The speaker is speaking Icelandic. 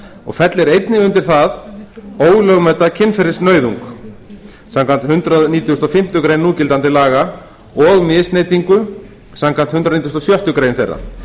og fellir einnig undir það ólögmæta kynferðisnauðung samkvæmt hundrað nítugasta og fimmtu grein núgildandi laga og misneytingu samkvæmt hundrað nítugasta og sjöttu grein þeirra